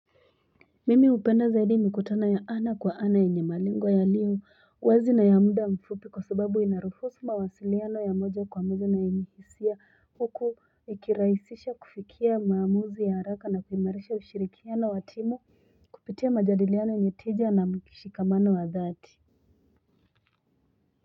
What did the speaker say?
Mimi upenda zaidi mikutano ya ana kwa ana yenye malengo yalio wazi na ya muda mfupi kwa sababu inaruhusu mawasiliano ya moja kwa moja na yenye hisia huku ikirahisisha kufikia maamuzi ya haraka na kuimarisha ushirikiano wa timu kupitia majadiliano yenye teja na mkishikamano wa dhati.